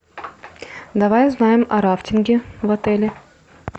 давай узнаем о рафтинге в отеле